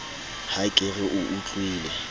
ha ke re o utlwile